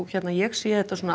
ég sé þetta